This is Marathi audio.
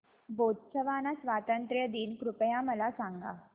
बोत्सवाना स्वातंत्र्य दिन कृपया मला सांगा